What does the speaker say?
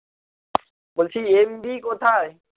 বলছি MB কোথায়?